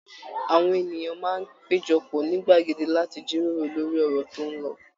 Àwọn ènìyàn máa ń péjọ pọ̀ ní gbàgede láti jíròrò lórí ọ̀rọ̀ tó ń lọ